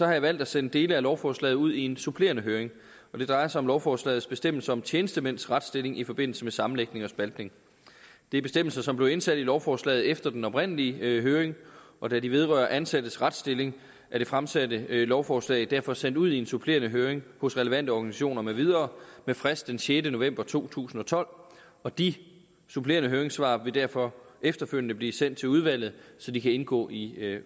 jeg valgt at sende dele af lovforslaget ud i en supplerende høring det drejer sig om lovforslagets bestemmelser om tjenestemænds retsstilling i forbindelse med sammenlægning og spaltning det er bestemmelser som blev indsat i lovforslaget efter den oprindelige høring og da de vedrører ansattes retsstilling er det fremsatte lovforslag derfor sendt ud i en supplerende høring hos relevante organisationer med videre med frist den sjette november to tusind og tolv og de supplerende høringssvar vil derfor efterfølgende blive sendt til udvalget så de kan indgå i